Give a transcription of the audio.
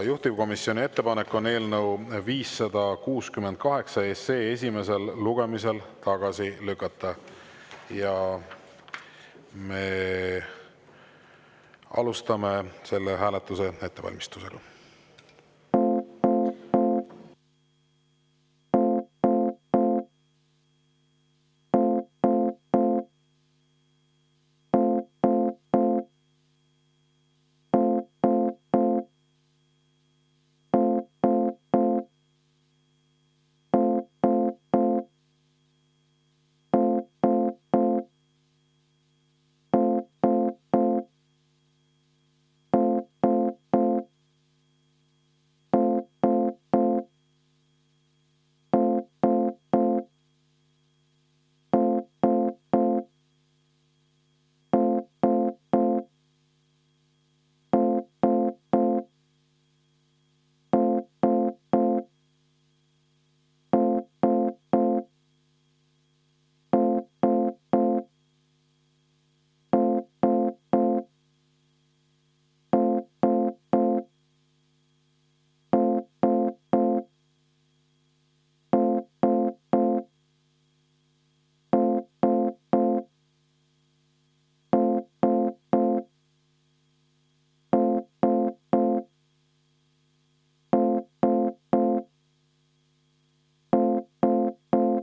Juhtivkomisjoni ettepanek on eelnõu 568 esimesel lugemisel tagasi lükata ja me alustame selle hääletuse ettevalmistust.